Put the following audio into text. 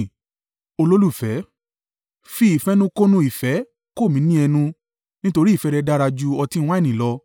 Fi ìfẹnukonu ìfẹ́ kò mí ní ẹnu, nítorí ìfẹ́ rẹ dára ju ọtí wáìnì lọ.